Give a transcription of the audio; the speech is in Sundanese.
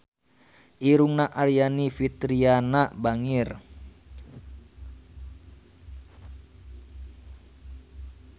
Irungna Aryani Fitriana bangir